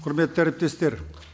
құрметті әріптестер